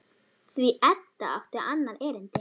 Því Edda átti annað erindi.